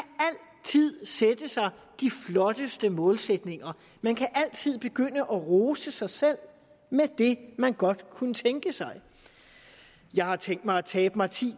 sætte sig de flotteste målsætninger man kan altid begynde at rose sig selv med det man godt kunne tænke sig jeg har tænkt mig at tabe mig ti